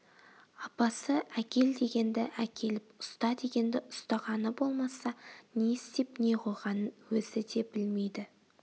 апасы әкел дегенді әкеліп ұста дегенді ұстағаны болмаса не істеп не қойғанын өзі де білмейді